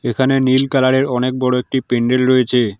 এখানে নীল কালার -এর অনেক বড় একটি পেনডেল রয়েছে।